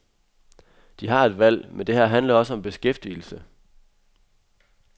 De har et valg, men det her handler også om beskæftigelse.